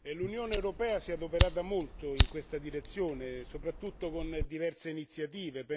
L'Unione europea si è adoperata molto in questa direzione soprattutto con diverse iniziative.